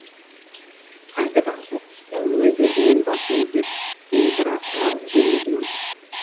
қайтадан сұлық түсті өз өзінен басын изеп сенікі рас ал жеңдің